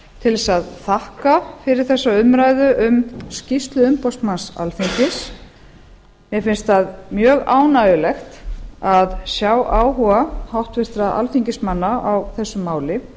til að þakka fyrir þessa umræðu um skýrslu umboðsmanns alþingis mér finnst það mjög ánægjulegt að sjá áhuga háttvirtra alþingismanna á þessu máli